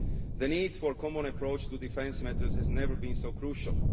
The need for a common approach to defence matters has never been so crucial.